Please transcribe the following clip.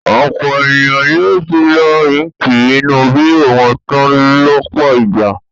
Ọ̀pọ̀ ènìyàn ni ó ti lo íńkì inú bírò wọn tán lọ́pọ̀ ìgbà.